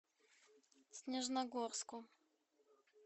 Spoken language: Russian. снежногорску